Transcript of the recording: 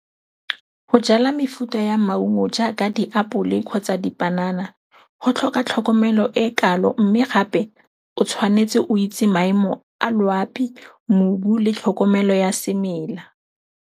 Go jala mefuta ya maungo jaaka diapole kgotsa dipanana go tlhoka tlhokomelo e kalo, mme gape o tshwanetse o itse maemo a loapi, mobu le tlhokomelo ya semela.